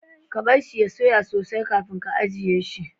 Ka bar shi ya soya sosai kafin ka ajiye shi.